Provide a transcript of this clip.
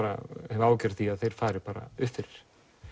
hef áhyggjur af því að þeir fari upp fyrir